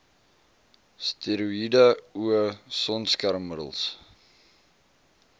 steroïede o sonskermmiddels